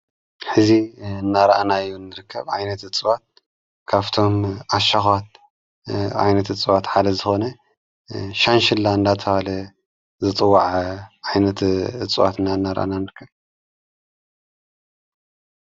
ሕዚ እናርኣናዮን ንርከብ ኣይነት እጽዋት ካፍቶም ኣሻኻት ኣይነት እጽዋት ሓደ ዝኾነ ሻንሽላ እንዳተበሃለ ዝፅዋዕ ዓይነት እፅዋት ኢና እናርኣና ንርከብ።